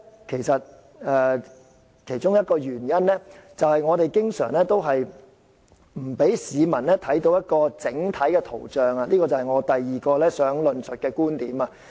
其中一個原因，就是政府經常不讓市民看到整體情況，這就是我第二個要論述的觀點。